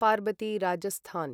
Parvati Rajasthan